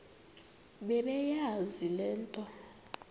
bebeyazi le nto